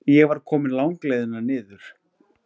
Ég var komin langleiðina niður.